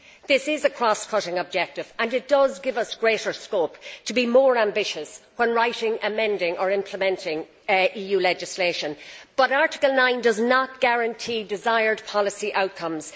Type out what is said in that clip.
This is a cross cutting objective and it gives us greater scope to be more ambitious when writing, amending or implementing EU legislation, but Article 9 does not guarantee desired policy outcomes.